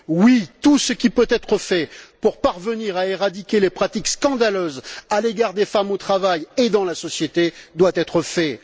Oui, tout ce qui peut être fait pour parvenir à éradiquer les pratiques scandaleuses à l'égard des femmes au travail et dans la société doit être fait.